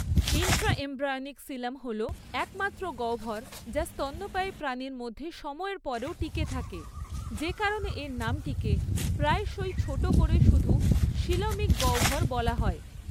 Intraembryonic coelom হল একমাত্র গহ্বর যা স্তন্যপায়ী প্রাণীর মধ্যে সময়ের পরেও টিকে থাকে, যে কারণে এর নামটিকে প্রায়শই ছোট করে শুধু সিলমিক গহ্বর বলা হয়।